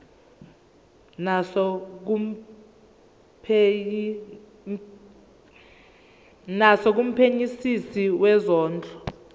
naso kumphenyisisi wezondlo